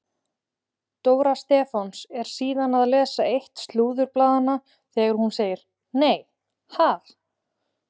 Dóra Stefáns er síðan að lesa eitt slúðurblaðanna þegar hún segir: Nei ha?